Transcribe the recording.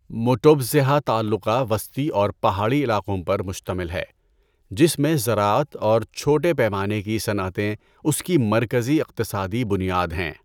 موٹوپزھا تعلقہ وسطی اور پہاڑی علاقوں پر مشتمل ہے جس میں زراعت اور چھوٹے پیمانے کی صنعتیں اس کی مرکزی اقتصادی بنیاد ہیں۔